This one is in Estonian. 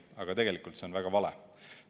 Aga tegelikult see on väga vale.